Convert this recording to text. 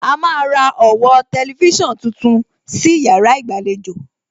A máa ra ọ̀wọ́ tẹlifísàn tuntun sí yàrá ìgbàlejò